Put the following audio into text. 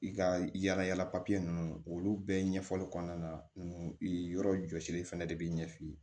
I ka yala yala papiye ninnu olu bɛɛ ɲɛfɔli kɔnɔna na i yɔrɔ jɔsiri fɛnɛ de bi ɲɛ f'i ye